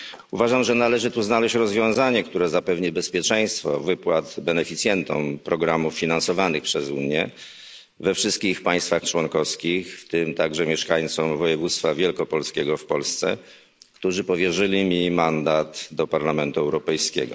Uważam, że należy tu znaleźć rozwiązanie, które zapewni bezpieczeństwo wypłat beneficjentom programów finansowanych przez Unię we wszystkich państwach członkowskich, w tym także mieszkańcom województwa wielkopolskiego w Polsce, którzy powierzyli mi mandat do Parlamentu Europejskiego.